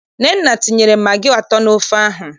Nnenne tinyere magị atọ n'ofe ahụ.